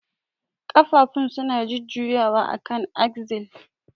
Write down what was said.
Ƙafafun suna jujjuyawa akan axle.